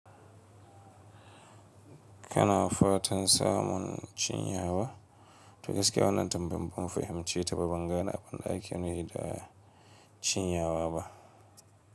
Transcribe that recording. Ka na fatan samun cinyawa? To gaskiya wannan tambayan ban fahimce ta ba, bangane abunda ake nuhi da cinyawa ba.